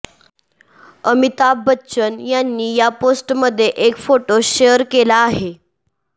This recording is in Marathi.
अमिताभ बच्चन यांनी या पोस्टमध्ये एक फोटो शेअर केला आहे